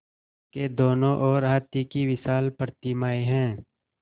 उसके दोनों ओर हाथी की विशाल प्रतिमाएँ हैं